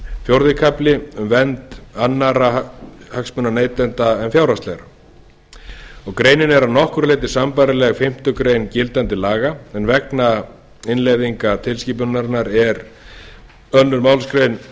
fjórði kafli um vernd annarra hagsmuna neytenda en fjárhagslegra greinin er að nokkru leyti sambærileg fimmtu grein gildandi laga en vegna innleiðingar tilskipunarinnar er í annarri málsgrein